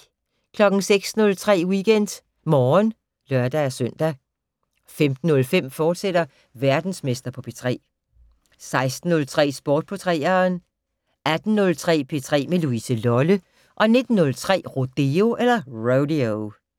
06:03: WeekendMorgen (lør-søn) 15:05: Verdensmester på P3, fortsat 16:03: Sport på 3'eren 18:03: P3 med Louise Lolle 19:03: Rodeo